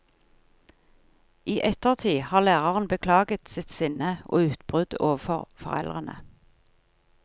I ettertid har læreren beklaget sitt sinne og utbrudd overfor foreldrene.